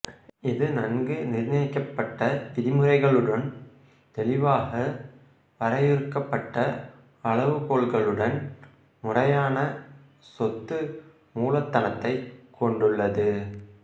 இது நன்கு நிர்ணயிக்கப்பட்ட விதிமுறைகளுடனும் தெளிவாக வரையறுக்கப்பட்ட அளவுகோல்களுடன் முறையான சொத்து மூலதனத்தைக் கொண்டுள்ளது